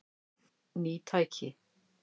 Ný tæki